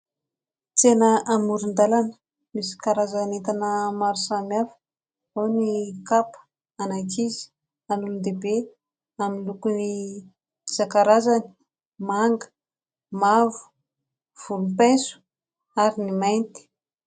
Tsena amoron-dalana misy karazan'entana maro samihafa. Ao ny kapa an'ankizy, an'olon-dehibe amin'ny lokony isankarazany : manga ; mavo ; volompaiso ary ny mainty.